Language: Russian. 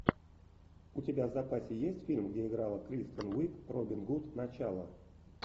у тебя в запасе есть фильм где играла кристен уиг робин гуд начало